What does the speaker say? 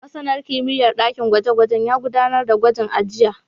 Masanin kimiyyar ɗakin gwaje-gwaje ya gudanar da gwajin a jiya.